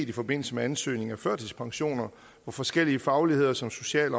i forbindelse med ansøgning om førtidspensioner hvor forskellige fagligheder som social